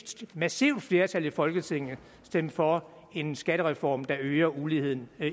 massivt flertal i folketinget stemme for en skattereform der øger uligheden